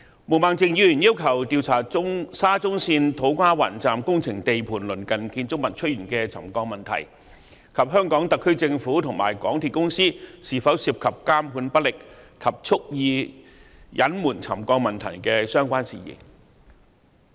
毛孟靜議員要求調查沙田至中環線土瓜灣站工程地盤鄰近建築物出現沉降的問題，以及特區政府和香港鐵路有限公司是否涉及監管不力和蓄意隱瞞沉降問題的相關事宜。